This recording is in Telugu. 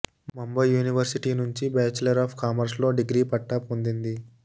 ముంబై యూనివర్సిటీ నుంచి బ్యాచిలర్ ఆఫ్ కామర్స్లో డిగ్రీ పట్టా పొందింది